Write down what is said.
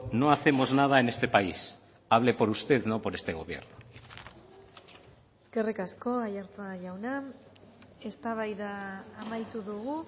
no hacemos nada en este país hable por usted no por este gobierno eskerrik asko aiartza jauna eztabaida amaitu dugu